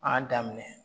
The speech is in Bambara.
A y'a daminɛ